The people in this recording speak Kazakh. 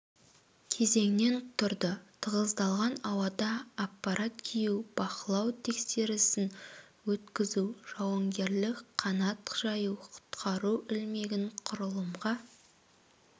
кезеңнен тұрды тығыздалған ауада аппарат кию бақылау тексерісін өткізу жауынгерлік қанат жаю құтқару ілмегін құрылымға